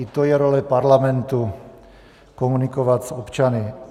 I to je role Parlamentu, komunikovat s občany.